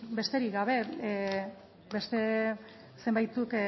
besterik gabe beste zenbaitzuk